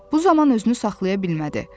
Bu zaman özünü saxlaya bilmədi.